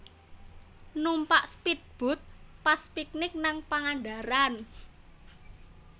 Numpak spead boat pas piknik ning Pangandaran